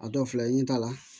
A dɔw filɛ i n'a